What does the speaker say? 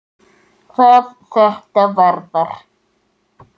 hvað þetta varðar.